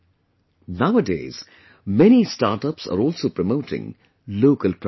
Nowadays, many startups are also promoting local products